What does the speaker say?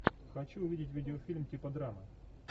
хочу увидеть видеофильм типа драмы